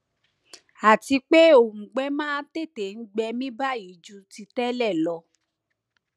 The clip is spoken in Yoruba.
àti pé òùngbẹ máa tètè gbẹ mí báyìí ju ti tẹlẹ lọ